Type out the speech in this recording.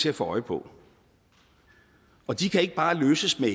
at få øje på og de kan ikke bare løses med